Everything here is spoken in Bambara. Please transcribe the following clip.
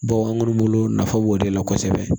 Bawo an kɔni bolo nafa b'o de la kosɛbɛ